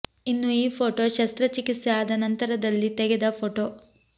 ಇನ್ನು ಈ ಫೋಟೋ ಶಸ್ತ್ರ ಚಿಕಿತ್ಸೆ ಆದ ನಂತರದಲ್ಲಿ ತೆಗೆದ ಫೋಟೋ